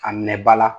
A minɛ ba la